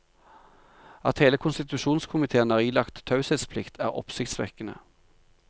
At hele konstitusjonskomitéen er ilagt taushetsplikt, er oppsiktsvekkende.